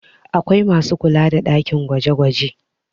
Akwai masu kula da ɗakin gwaje -gwaje